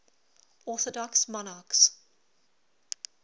orthodox monarchs